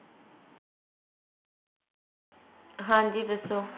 ਹਾਂਜੀ ਦਸੋ